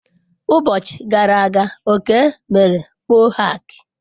Ụbọchi gara aga Okey mere mohak.